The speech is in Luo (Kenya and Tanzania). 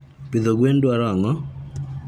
pidho gwen dwaroo ango?